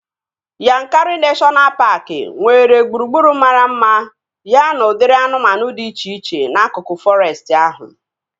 Yankari neshọna paaki nwere gburugburu mara mma ya na udiri anụmanụ dị iche iche n'akụkụ fọrestị ahụ